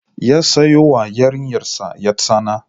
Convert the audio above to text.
Ya sayo wa yarinyarsa ƴartsana